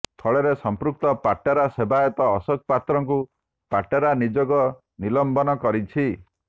ଫଳରେ ସଂମ୍ପୃକ୍ତ ପାଟରା ସେବାୟତ ଅଶୋକ ପାତ୍ରଙ୍କୁ ପାଟରା ନିଯୋଗ ନିଲମ୍ବନ କରିଛି